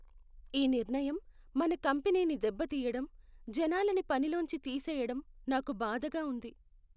ఈ నిర్ణయం మన కంపెనీని దెబ్బతీయటం, జనాలని పనిలోంచి తీసేయడం నాకు బాధగా ఉంది.